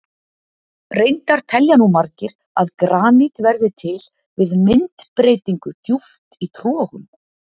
Reyndar telja nú margir að granít verði til við myndbreytingu djúpt í trogum.